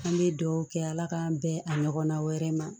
An bɛ dugawu kɛ ala k'an bɛn a ɲɔgɔnna wɛrɛ ma